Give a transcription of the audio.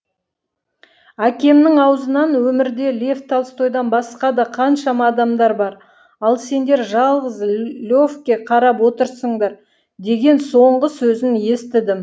әкемнің аузынан өмірде лев толстойдан басқа да қаншама адамдар бар ал сендер жалғыз левке қарап отырсыңдар деген соңғы сөзін естідім